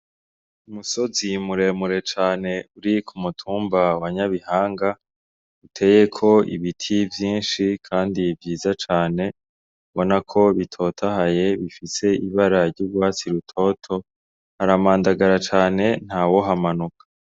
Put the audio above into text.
Umusozi muremure cane, uri ku mutumba wa NYABIHANGA uteyeko ibiti vyinshi kandi vyiza cane ubona ko bitotahaye bifise ibara ry'urwatsi rutoto, haramandagara cane ntawohamanuka.